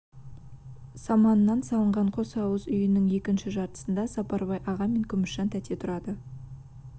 саманнан салынған қос ауыз үйінің екінші жартысында сапарбай аға мен күмісжан тәте тұрады